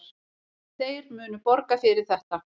Þeir munu borga fyrir þetta.